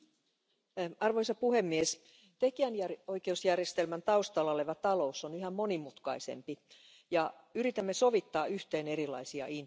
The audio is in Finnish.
Arvoisa puhemies, tekijänoikeusjärjestelmän taustalla oleva talous on yhä monimutkaisempi ja yritämme sovittaa yhteen erilaisia intressejä.